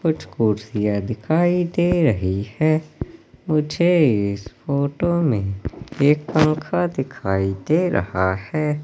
कुछ कुर्सियां दिखाई दे रही हैं। मुझे इस फोटो में एक पंखा दिखाई दे रहा है।